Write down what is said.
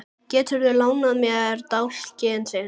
Geturðu lánað mér dálkinn þinn?